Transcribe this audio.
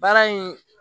Baara in